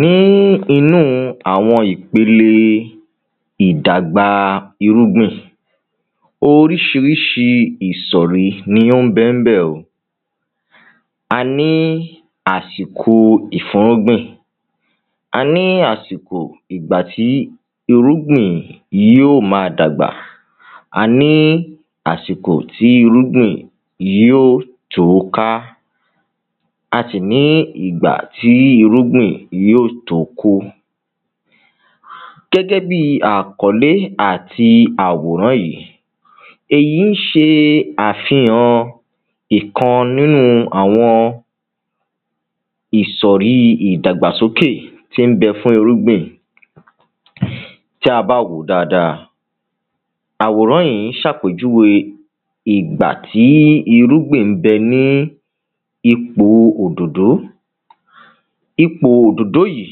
ní inú àwọn ìpele ìdagbà irúngbìn, oríṣiríṣi ìsọ̀rí ni ó ń bẹ ní bẹ̀ o a ní àsìkò ìfúnrúgbìn, a ní àsìkò ìgbà tí irúgbìn yóò máa dàgbà a ní àsìkò tí irúgbìn yóò tó ká a sì ní ìgbà tí irúgbìn yóò tó kó. gẹ́gẹ́bíi àkólé àti àwòrán yìí, èyí ńṣe àfihàn ìkan nínú àwọn ìsọ̀rí ìdàgbàsókè tí ń bẹ fún irúgbìn tí a bá wòó dáadáa, àwòrán yìí ń ṣàpèjúwe ìgbà tí irúgbìn ńbẹ ní ipò odòdó ipò odòdó yìí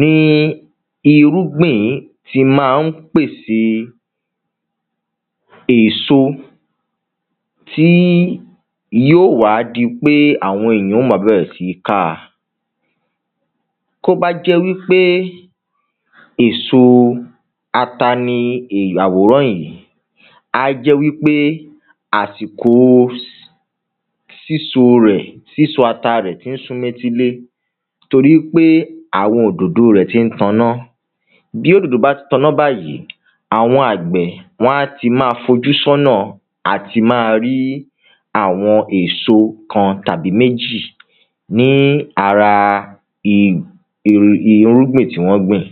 ni irúgbìn tí máa ń pèsè èso tí yóò wá di ípé àwọn èyàn ò máa bẹ̀rẹ̀ sí ní káa kó bá jẹ́ wípé èso ata ni àwòrán yìí á jẹ́ wípé àsìko síso rẹ̀, síso ata rẹ̀ ti ń súnmọ́ etílé torí pé àwọn odòdó rẹ̀ ti ń taná bí odòdó bá ti taná báyìí, àwọn àgbẹ̀ wán ti máa fojú sọ́nà àti máa rí àwọn èso kan tàbí méjì ní ara i i irúgbìn tí wọ́n gbìn.